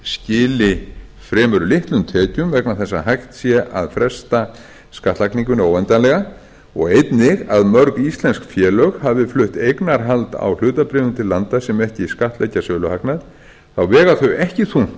skili fremur litlum tekjum vegna þess að hægt sé að fresta skattlagningunni óendanlega og einnig að mörg íslensk félög hafa flutt eignarhald á hlutabréfum til landa sem ekki skattleggja söluhagnað þá vega þau